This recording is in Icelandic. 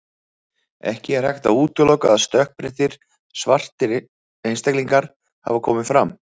Ekki er hægt að útiloka að stökkbreyttir, svartir einstaklingar hafi komið fram.